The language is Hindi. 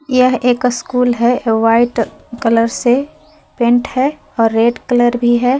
यह एक स्कूल है व्हाइट कलर से पेंट है और रेड कलर भी है।